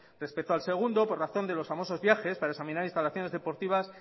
respecto al segundo por razón de los famosos viajes para examinar instalaciones deportivas